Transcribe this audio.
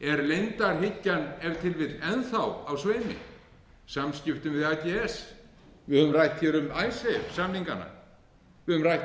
er leyndarhyggjan ef til vill enn þá á sveimi í samskiptum við ags við höfum rætt hér um icesave samningana við höfum rætt